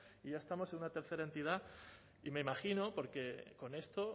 y ya estamos en una tercera entidad y me imagino porque con esto